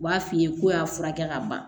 U b'a f'i ye k'o y'a furakɛ ka ban